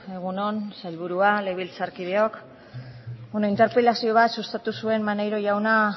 egun on sailburua legebiltzarkideok interpelazio bat sustatu zuen maneiro jaunak